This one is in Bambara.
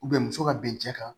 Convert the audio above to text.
muso ka bin cɛ kan